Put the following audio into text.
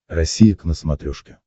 россия к на смотрешке